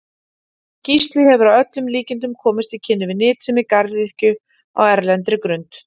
Gísli hefur að öllum líkindum komist í kynni við nytsemi garðyrkju á erlendri grund.